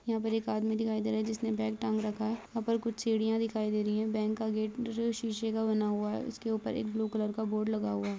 यहाँ पर एक आदमी दिखाई दे रहा हैं जिसने बैग टांग रखा हुआ हैं यहाँ पर कुछ सीढ़िया दिखाई दे रही हैं बैंक का गेट शीशे का बना हुआ हैं उसके ऊपर एक ब्लू कलर का बोर्ड लगा हुआ--